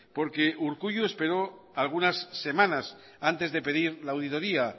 porque urkullu esperó algunas semanas antes de pedir la auditoría